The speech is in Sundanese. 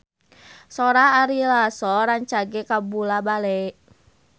Sora Ari Lasso rancage kabula-bale